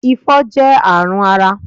Ifo jẹ́ àrùn ara